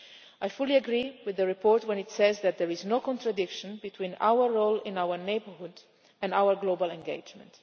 I fully agree with the report when it says that there is no contradiction between our role in our neighbourhood and our global engagement.